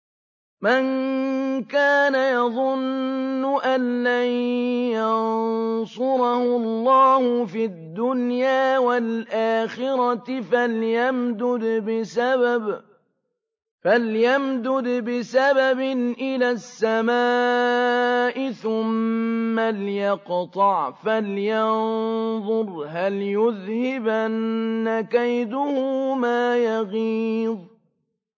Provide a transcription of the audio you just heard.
مَن كَانَ يَظُنُّ أَن لَّن يَنصُرَهُ اللَّهُ فِي الدُّنْيَا وَالْآخِرَةِ فَلْيَمْدُدْ بِسَبَبٍ إِلَى السَّمَاءِ ثُمَّ لْيَقْطَعْ فَلْيَنظُرْ هَلْ يُذْهِبَنَّ كَيْدُهُ مَا يَغِيظُ